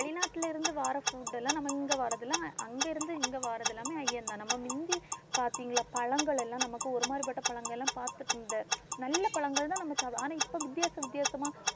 வெளிநாட்டுல இருந்து வர்ற food எல்லாம் நம்ம இங்க வர்றதெல்லாம் அங்கிருந்து இங்க வர்றது எல்லாமே ஐயம்தான், நம்ம முந்தி பாத்தீங்களா? பழங்கள் எல்லாம் நமக்கு ஒரு மாதிரிப்பட்ட பழங்கள் எல்லாம் பாத்து~ இந்த நல்ல பழங்கள் தான் நாம சாப்பிடுவோம் ஆனா இப்போ வித்தியாச வித்தியாசமா